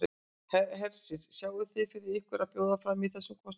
Hersir: Sjáið þið fyrir ykkur að bjóða fram í þessum kosningum?